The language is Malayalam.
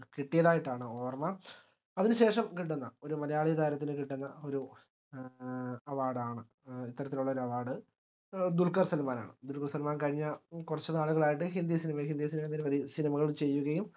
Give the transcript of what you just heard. കിട്ടിയതായിട്ടാണ് ഓർമ്മ അതിനുശേഷം കിട്ടുന്ന ഒരു മലയാളി താരത്തിന് കിട്ടുന്ന ഒരു ഏഹ് award ആണ് ഇത്തരത്തിലുള്ള ഒര് award ദുൽഖർ സൽമാനാണ് ദുൽഖർസൽമാൻ കഴിഞ്ഞ കുറച്ചുനാളുകളായിട്ട് ഹിന്ദി cinema ഹിന്ദി സിനി cinema കൾ ചെയ്യുകയും